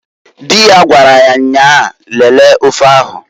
Di ya gwaraya nnyaa, "Lelee ofe ahu"ǃ